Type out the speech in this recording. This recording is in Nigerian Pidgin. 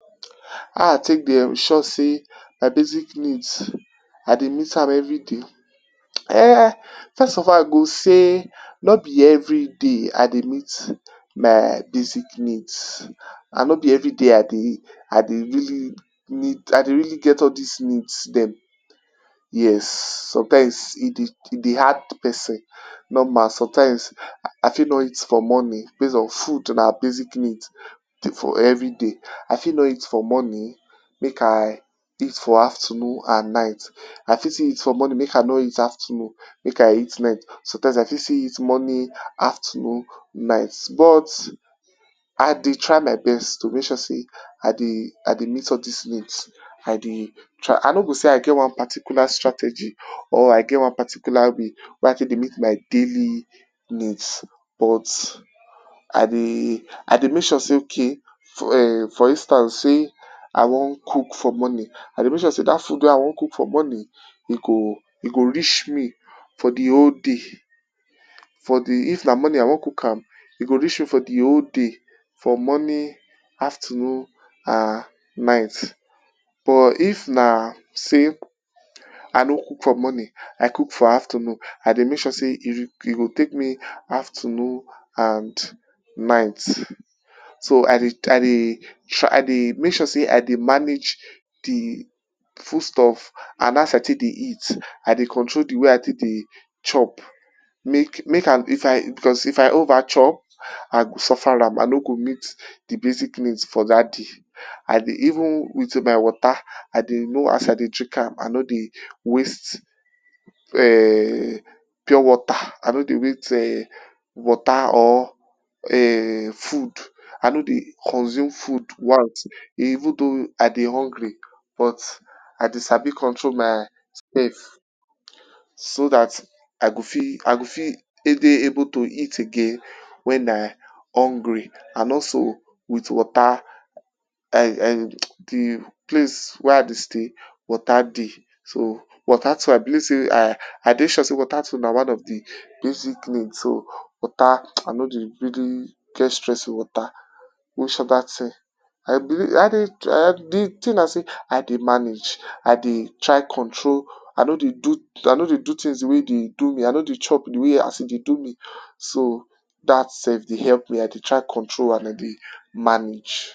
How I take dey ensure sey my basic needs I dey meet am everyday? um first of all I go say nor be everyday I dey meet my basic needs and nor be everyday I dey I dey really need I dey really get all dis need dem. Yes sometimes e dey hard person. Normal sometimes I fit no eat for morning base on food na basic need for everyday I fit no eat for morning make I eat for afternoon and night, I fit still eat for morning make I no eat afternoon make I eat night. Sometimes I fit still eat morning afternoon night but I dey try my best to make sure sey I dey meet all dis needs I dey I no go say I get one particular strategy or I get one particular way wey I take dey meet my daily needs but I dey I dey make sure sey okay for for instance sey I wan cook for morning I dey make sure sey dat food wey I wan cook for morning, e go e go reach me for de whole day. For de if na morning I wan cook am e go reach me for de whole day for morning, afternoon and night. But if na sey I no cook for morning I cook for afternoon I dey make sure sey e dey take me afternoon and night. So I dey I dey make sure sey I dey manage de food stuffs and how as I tey dey eat I dey control how I take dey chop. Make make I cause if I over chop I go suffer am I no go meet de basic needs for dat day. I dey even with my water I dey know as I dey drink am I no dey waste um pure water I no dey waste um water or um food, I no dey consume food once even though I dey hungry but I dey sabi control myself, so dat I go fit I go fit dey able to eat again when I hungry and also with water. um de place wey I dey stay water dey water too I believe sey I dey sure sey water too na one of de basic need so water I no dey get stress of water. Which other thing? De thing I dey manage I dey try control I no dey I no dey do things de way dey do me I no dey chop de way e dey do me. So, dat self dey help de way I dey try control and I dey manage.